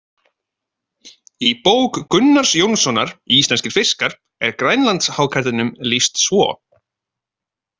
Í bók Gunnars Jónssonar, Íslenskir fiskar, er grænlandshákarlinum lýst svo